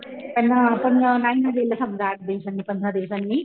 त्यांना पण नाही म्हणजे समजा आठ दिवसांनी पंधरा दिवसांनी